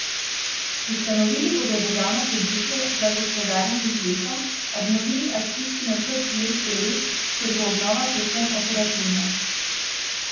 Ustanovili bodo državno podjetje za gospodarjenje z lesom, obnovili akcijski načrt Les je lep, kjer bo obnova predvsem operativna.